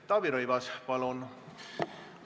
Taavi Rõivas, palun!